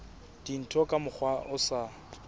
dintho ka mokgwa o sa